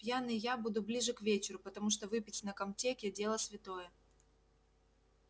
пьяный я буду ближе к вечеру потому что выпить на комтеке дело святое